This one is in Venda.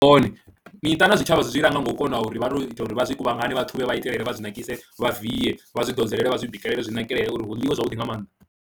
Miṱa na zwitshavha zwi zwi langa nga u kona uri vha tou ita uri vha zwi kuvhangane vha ṱhuvhe vha itelele, vha zwi nakise, vha vie, vha zwi ḓodzele vha zwi bikelele zwi nakelele uri hu ḽiwe zwavhuḓi nga maanḓa.